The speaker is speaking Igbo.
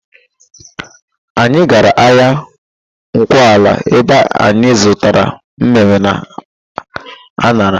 Anyị gara ahịa Nkwọala ebe anyị zụtara mmịmmị na an̄ara.